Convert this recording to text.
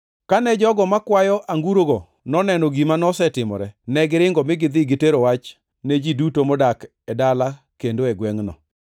Kane jogo makwayo angurogo noneno gima nosetimore, negiringo mi gidhi gitero wach ne ji duto modak e dala kendo e gwengʼno.